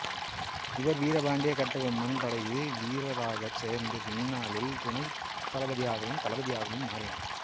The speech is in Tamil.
இவர் வீரபாண்டிய கட்டபொம்மன் படையில் வீரராகச் சேர்ந்து பின்னாளில் துணைத் தளபதியாகவும் தளபதியாகவும் மாறினார்